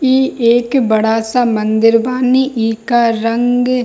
इ एक बड़ा सा मंदिर बानी इ का रंग --